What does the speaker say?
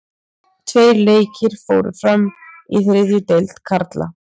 Tveir leikir fóru fram í þriðju deild karla.